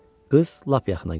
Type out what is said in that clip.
Qız lap yaxına gəldi.